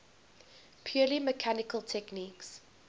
purely mechanical techniques